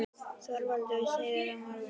ÞORVALDUR: Þú segir þetta á morgun?